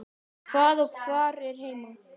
Hvað og hvar er heima?